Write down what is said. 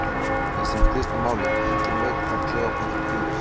Í sem stystu máli: enginn veit hvar Kleópatra hvílir.